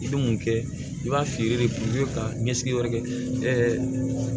I bɛ mun kɛ i b'a feere de i bɛ taa ɲɛsigiyɔrɔ kɛ